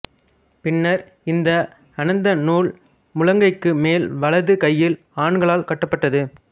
பின்னர் இந்த அனந்த நூல் முழங்கைக்கு மேல் வலது கையில் ஆண்களால் கட்டப்பட்டது